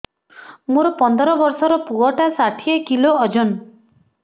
ମୋର ପନ୍ଦର ଵର୍ଷର ପୁଅ ଟା ଷାଠିଏ କିଲୋ ଅଜନ